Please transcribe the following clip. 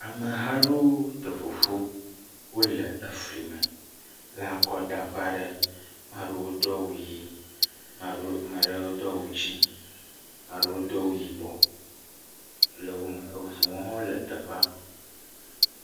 Ameha aɖewo te ƒo ƒu, wole eflime le akɔdaƒe aɖe. Maa ɖewo do awu ʋii, ma ɖewo Maa ɖewo do awu dzɛ̃ɛ̃, maa ɖewo do awu yibɔ le wome. Eŋuwo hã le teƒea.